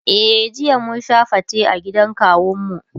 e jiya mun Sha fate a gidan kawun mu.